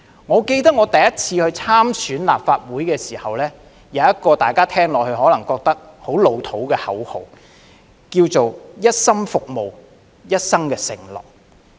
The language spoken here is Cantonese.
我記得我首次參選立法會議員時，有一個大家聽起來可能會覺得很"老套"的口號是"一心服務，一生承諾"。